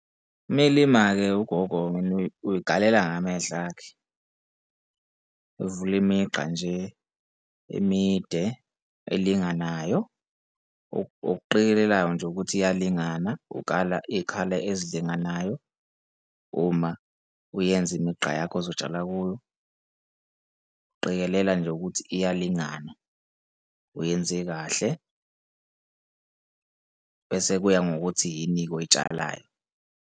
Uma elima-ke ugogo uy'kalela ngamehlo akhe, evule imigqa nje emide elinganayo, okuqikelelayo nje ukuthi iyalingana ukala iy'khala ezilinganayo uma uyenza imigqa yakho ozotshala kuyo, uqikelele nje ukuthi iyalingana, uyenze kahle kuya ngokuthi yini-ke oyitshalayo.